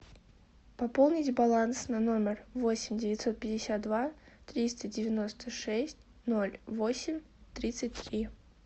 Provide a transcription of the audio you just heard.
пополнить баланс на номер восемь девятьсот пятьдесят два триста девяносто шесть ноль восемь тридцать три